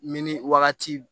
Minni wagati